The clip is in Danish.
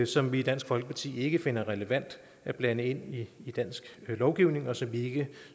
som vi i dansk folkeparti ikke finder relevant at blande ind i dansk lovgivning og som vi ikke